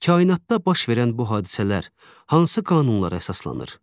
Kainatda baş verən bu hadisələr hansı qanunlara əsaslanır?